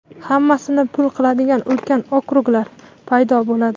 hammasini pul qiladigan ulkan okruglar paydo bo‘ladi.